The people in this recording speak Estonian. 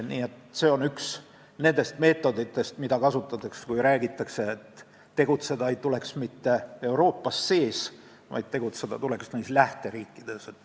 Nii et need missioonid on üks nendest meetoditest, mida kasutatakse, kui räägitakse, et tegutseda ei tuleks mitte Euroopa sees, vaid lähteriikides.